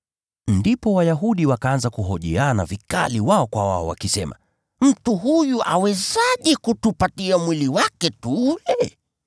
Ndipo Wayahudi wakaanza kuhojiana vikali wao kwa wao wakisema, “Mtu huyu awezaje kutupatia mwili wake tuule?”